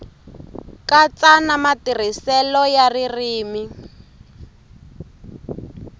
katsa na matirhiselo ya ririmi